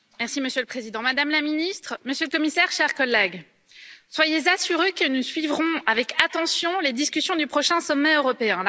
Monsieur le Président, Madame la Ministre, Monsieur le Commissaire, chers collègues, soyez assurés que nous suivrons avec attention les discussions du prochain sommet européen.